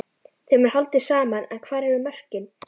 Þeim er haldið saman en hvar eru mörkin?